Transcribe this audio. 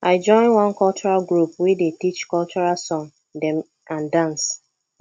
i join one cultural group wey dey teach cultural song dem and dance